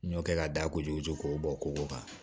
N y'o kɛ ka da kojugu koko kan